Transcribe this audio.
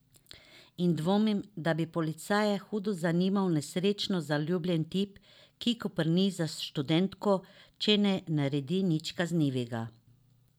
In dvomim, da bi policaje hudo zanimal nesrečno zaljubljen tip, ki koprni za študentko, če ne naredi nič kaznivega.